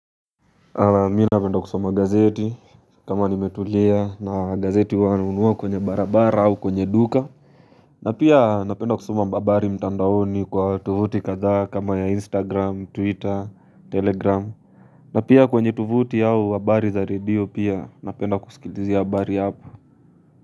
Mi napenda kusoma gazeti kama nimetulia na gazeti huwa nanunua kwenye barabara au kwenye duka na pia napenda kusoma mbabari mtandaoni kwa tovuti kadhaa kama ya instagram twitter telegram na pia kwenye tovuti au habari za radio pia napenda kusikilizia habari hapo.